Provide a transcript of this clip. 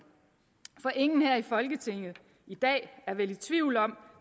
for ingen her i folketinget i dag er vel i tvivl om